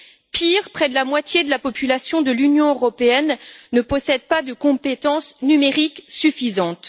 Pire, près de la moitié de la population de l'Union européenne ne possède pas de compétences numériques suffisantes.